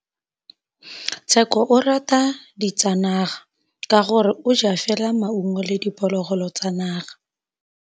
Tshekô o rata ditsanaga ka gore o ja fela maungo le diphologolo tsa naga.